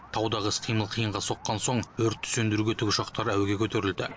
таудағы іс қимыл қиынға соққан соң өртті сөндіруге тікұшақтар әуеге көтерілді